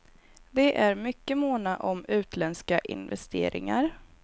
De är mycket måna om utländska investeringar.